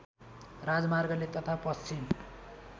राजमार्गले तथा पश्चिम